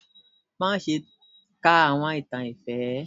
Má ṣe kà àwọn ìtàn ifẹ!